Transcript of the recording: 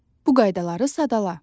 Bu qaydaları sadala.